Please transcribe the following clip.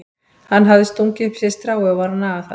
Hann hafði stungið upp í sig strái og var að naga það.